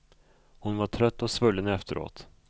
Hon var trött och svullen efteråt.